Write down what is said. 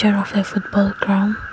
of a football ground.